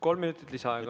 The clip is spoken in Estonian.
Kolm minutit lisaaega.